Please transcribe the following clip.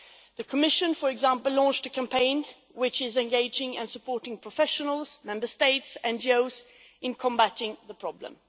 The Commission, for example, launched a campaign which is engaging and supporting professionals, Member States and NGOs in combating the problem.